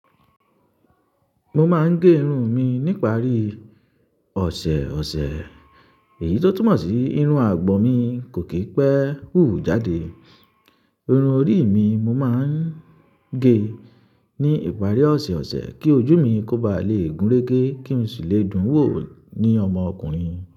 Mo máa ń gé irun mi ní ìparí ọ̀sẹ̀ ọ̀sẹ̀ èyí tó túmọ̀ sí irun àgbọ̀n mi kò kí pẹ́ hù jáde. Irun orí mi mo máa ń gé ní ìparí ọ̀sẹ̀ ọ̀sẹ̀ kí ojú mi kó ba lè gúnrégé kí n sì lè dún wò ní ọmọkùnrin.